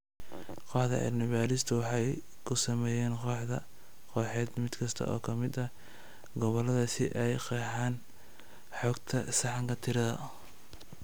Kooxda cilmi-baadhistu waxay ku sameeyeen koox-kooxeed mid kasta oo ka mid ah gobollada si ay u qeexaan xogta sahanka tirada.